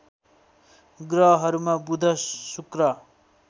ग्रहहरूमा बुध शुक्र